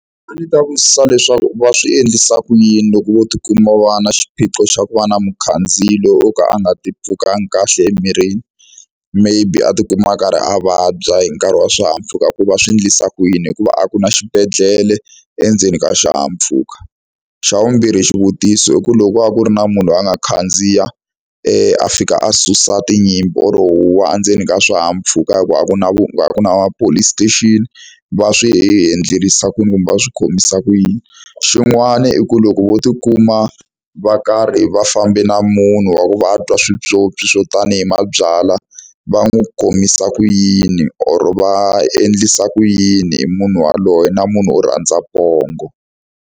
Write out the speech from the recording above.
A ni ta vutisa leswaku va swi endlisa ku yini loko vo tikuma va na xiphiqo xa ku va na mukhandziyi wo ka a nga tipfukanga kahle emirini maybe a tikuma a karhi a vabya hi nkarhi wa swihahampfhuka hi ku va swi endlisa ku yini hikuva a ku na xibedhlele endzeni ka xihahampfhuka. Xa vumbirhi xivutiso i ku loko a ku ri na munhu a nga khandziya a fika a susa tinyimpi or wa endzeni ka swihahampfhuka hikuva a ku na ku ku na police station va swi endlisa ku yini kumbe a swi khomisa ku yini xin'wana i ku loko vo tikuma va karhi va fambe na munhu wa ku va a twa swipyopyi swo tanihi mabyalwa va n'wi kumisa ku yini or va endlisa ku yini hi munhu yaloye na munhu wo rhandza pongo.